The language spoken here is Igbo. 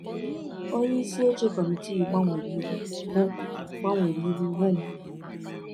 Onye isi oche kọmitii gbanwere ihu hụ gbanwere ihu hụ m.